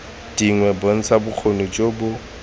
dingwe bontsha bokgoni jo bo